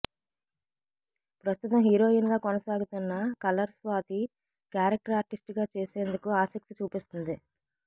ప్రస్తుతం హీరోయిన్ గా కొనసాగుతున్న కలర్ స్వాతి క్యారెక్టర్ ఆర్టిస్ట్ గా చేసేందుకు ఆసక్తి చూపిస్తుంది